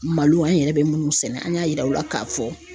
Malo an yɛrɛ be munnu sɛnɛ an y'a yira u la k'a fɔ